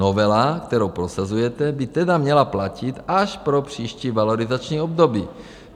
Novela, kterou prosazujete, by tedy měla platit až pro příští valorizační období.